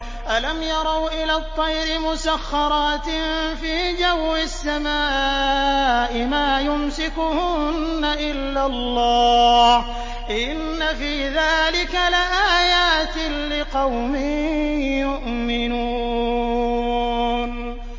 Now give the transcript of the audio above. أَلَمْ يَرَوْا إِلَى الطَّيْرِ مُسَخَّرَاتٍ فِي جَوِّ السَّمَاءِ مَا يُمْسِكُهُنَّ إِلَّا اللَّهُ ۗ إِنَّ فِي ذَٰلِكَ لَآيَاتٍ لِّقَوْمٍ يُؤْمِنُونَ